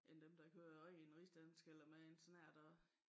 End dem der kører rent rigsdansk eller med en snert af